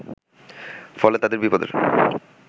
ফলে তাদের বিপদের